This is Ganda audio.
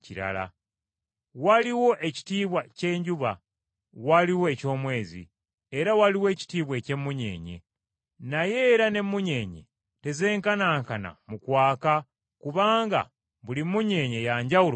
Waliwo ekitiibwa ky’enjuba, waliwo eky’omwezi, era waliwo ekitiibwa eky’emmunyeenye. Naye era n’emmunyeenye tezenkanankana mu kwaka kubanga buli munyeenye ya njawulo mu kwaka.